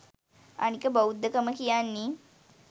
අනික බෞද්ධකම කියන්නේ